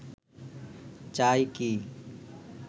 চাই কি